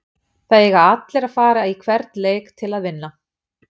Það eiga allir að fara í hvern leik til að vinna.